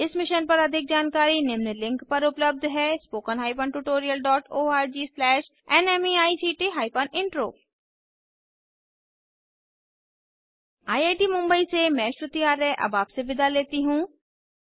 इस मिशन पर अधिक जानकारी निम्न लिंक पर उपलब्ध है spoken tutorialorgnmeict intro I I T Mumbai से मैं श्रुति आर्य अब आपसे विदा लेती हूँ